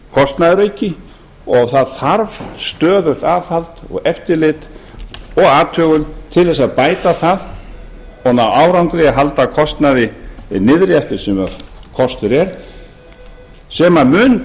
kostnaðarauki og það þarf stöðugt aðhald og eftirlit og athugun til að bæta það koma á árangri halda kostnaði niðri eftir því sem kostur er sem mun